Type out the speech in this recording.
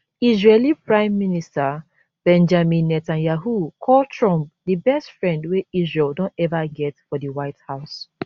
israeli prime minister benjamin netanyahu call trump di best friend wey israel don ever get for di white house